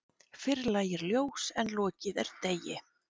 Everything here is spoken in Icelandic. Fyrr lægir ljós en lokið er degi.